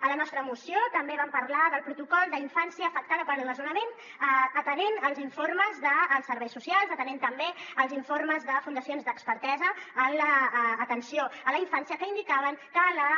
a la nostra moció també vam parlar del protocol d’infància afectada pel des·nonament atenent als informes dels serveis socials atenent també als informes de fundacions d’expertesa en atenció a la infància que indicaven que la